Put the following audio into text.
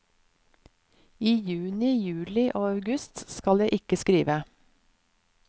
I juni, juli og august skal jeg ikke skrive.